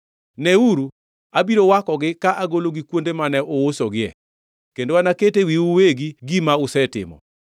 “Neuru, abiro wakogi ka agologi kuonde mane uusogie, kendo naket e wiwu uwegi gima usetimo.